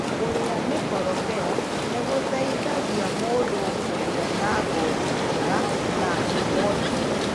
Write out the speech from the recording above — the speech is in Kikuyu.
Kũrĩa mĩkorobea nĩ gũteithagia mũndũ kũgĩa na ngothi njega na ngumo njega.